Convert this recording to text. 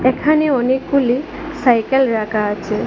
এখানে অনেকগুলি cycle rack আছে।